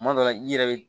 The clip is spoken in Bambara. Kuma dɔ la i yɛrɛ be